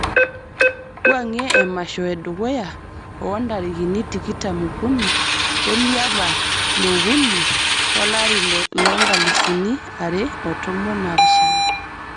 wuangie emasho e dukuya o ntarikini tikitam o kuni oliapa li okuni olari lo nkalusuni are o tomon napishana